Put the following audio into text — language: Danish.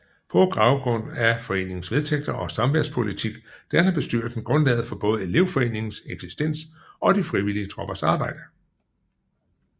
På baggrund af foreningens vedtægter og samværspolitik danner bestyrelsen grundlaget for både elevforeningens eksistens og de frivillige troppers arbejde